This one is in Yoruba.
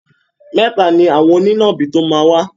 Mẹ́ta ni àwọn onínàbì tó máa wá.